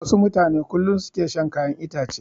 Wasu mutane kullum su ke shan kayan itace.